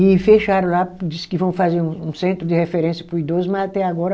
E fecharam lá, disse que vão fazer um um centro de referência para o idoso, mas até agora,